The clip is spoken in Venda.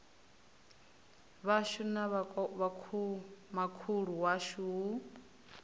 vhashu na vhomakhulu washu hu